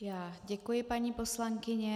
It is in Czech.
Já děkuji, paní poslankyně.